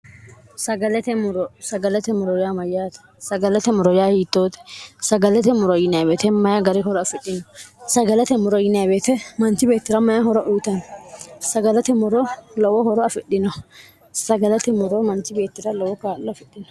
rsagalate moro yaa mayyaate sagalate moro yaa hiittoote sagalate moro yineebeete mayi gari horo afidhino sagalate moro yineeweete manchi beettira mayi horo huutani sagalate moro lowo horo afidhino sagalate moro manchi beettira lowo kaallo afidhino